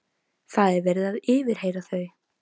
Það er verið að yfirheyra þau.